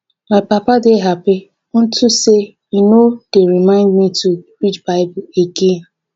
my papa dey happy unto say e no dey remind me to read bible again